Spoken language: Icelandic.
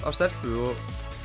stelpu og